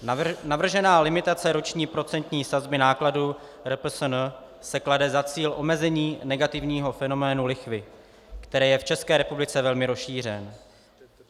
Navržená limitace roční procentní sazby nákladů RPSN si klade za cíl omezení negativního fenoménu lichvy, který je v České republice velmi rozšířený.